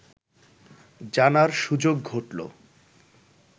জানার সুযোগ ঘটলো